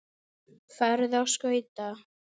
Farðu á skauta.